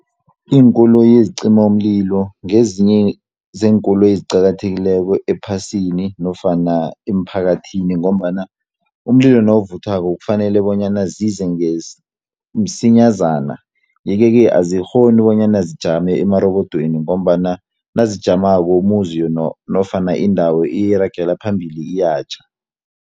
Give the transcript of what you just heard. Iinkoloyi ezicimamlilo ngezinye zeenkoloyi eziqakathekileko ephasini, nofana emphakathini ngombana, umlilo nawuvuthwako kufanele bonyana zize msinyazana. Yeke-ke azikghoni bonyana zijame emarobodweni, ngombana nazijamako umuzi nofana indawo iragela phambili iyatjha.